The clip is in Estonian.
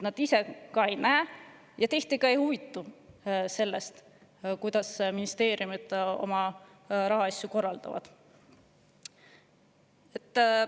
Nad ise ka ei näe seda ja tihti isegi ei huvitu sellest, kuidas ministeeriumid oma rahaasju korraldavad.